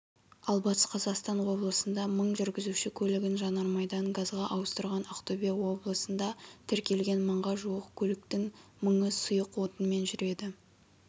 ал батыс қазақстан облысында мың жүргізуші көлігін жанармайдан газға ауыстырған ақтөбе облысында тіркелген мыңға жуық көліктің мыңы сұйық отынмен жүреді